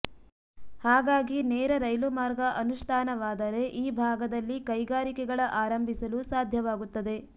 ಹಾಗಾಗಿ ನೇರ ರೈಲು ಮಾರ್ಗ ಅನುಷ್ಠಾನವಾದರೆ ಈ ಭಾಗದಲ್ಲಿ ಕೈಗಾರಿಕೆಗಳ ಆರಂಭಿಸಲು ಸಾಧ್ಯವಾಗುತ್ತದೆ